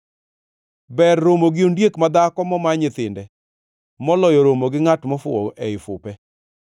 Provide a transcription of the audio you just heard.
Ber romo gi ondiek madhako moma nyithinde, moloyo romo gi ngʼat mofuwo ei fupe.